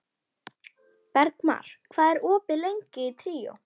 Bergmar, hvað er opið lengi í Tríó?